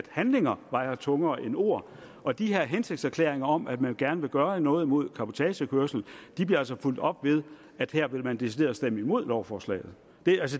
handlinger vejer tungere end ord og de her hensigtserklæringer om at man gerne vil gøre noget mod cabotagekørsel bliver altså fulgt op ved at her vil man decideret stemme imod lovforslaget